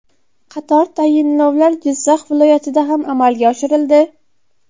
Qator tayinlovlar Jizzax viloyatida ham amalga oshirildi.